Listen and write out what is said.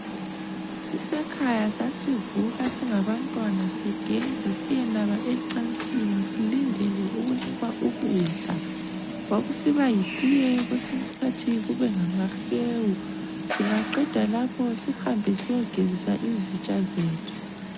Sisekhaya sasivuka singabantwana sigeze siyenaba ecansini silindele ukunikwa ukudla. Kwakusiba yitiye kwesinye isikhathi kube ngamahewu. Singaqeda lapho sihamba siyegezisa izitsha zethu.